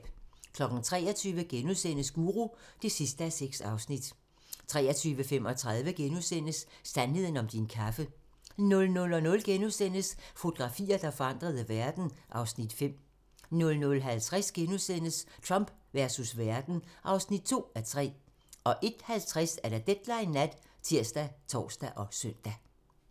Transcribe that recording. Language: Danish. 23:00: Guru (6:6)* 23:35: Sandheden om din kaffe * 00:00: Fotografier, der forandrede verden (Afs. 5)* 00:50: Trump versus verden (2:3)* 01:50: Deadline Nat ( tir, tor, søn)